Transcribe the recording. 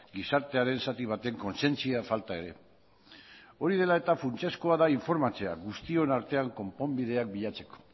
gizarteren zati baten kontzientzia falta ere hori dela eta funtsezkoa da informatzea guztion artean konponbidea bilatzeko